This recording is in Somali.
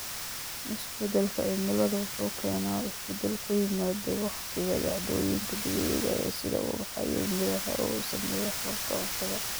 Isbeddelka cimiladu wuxuu keenaa isbeddel ku yimaada waqtiga dhacdooyinka dabiiciga ah, sida ubaxa iyo miraha, oo saameeya hababka cuntada.